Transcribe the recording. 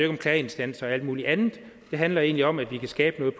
om klageinstanser og alt muligt andet det handler egentlig om at vi kan skabe noget